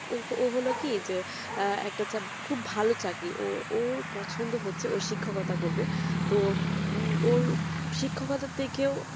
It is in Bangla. ও হলো কি একটা খুব ভালো চাকরি ওর পছন্দ হচ্ছে ও শিক্ষকতা করবে তো ওর শিক্ষকতা থেকেও